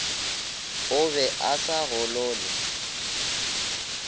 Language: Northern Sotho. o be a sa golole